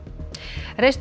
reistur